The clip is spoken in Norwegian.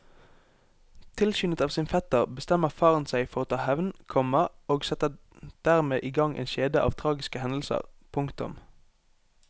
Tilskyndet av sin fetter bestemmer faren seg for å ta hevn, komma og setter dermed i gang en kjede av tragiske hendelser. punktum